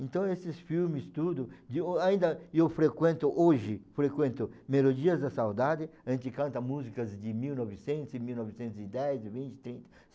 Então esses filmes tudo, ainda eu frequento hoje, frequento Melodias da Saudade, a gente canta músicas de mil e novecentos, mil novecentos e dez, vinte, trinta